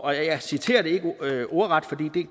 jeg citerer det ikke ordret fordi